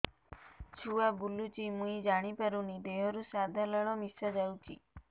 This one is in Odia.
ଛୁଆ ବୁଲୁଚି ମୁଇ ଜାଣିପାରୁନି ଦେହରୁ ସାଧା ଲାଳ ମିଶା ଯାଉଚି